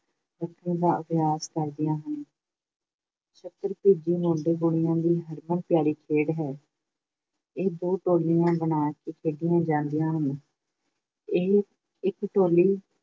ਰੱਖਣ ਦਾ ਅਭਿਆਸ ਕਰਦੀਆਂ ਹਨ। ‘ਸੱਕਰ ਭਿੱਜੀ’ ਮੁੰਡੇ-ਕੁੜੀਆਂ ਦੀ ਹਰਮਨ-ਪਿਆਰੀ ਖੇਡ ਹੈ। ਇਹ ਦੋ ਟੋਲੀਆਂ ਬਣਾ ਕੇ ਖੇਡੀਆਂ ਜਾਂਦੀਆਂ ਹਨ। ਇਹ ਇੱਕ ਟੋਲੀ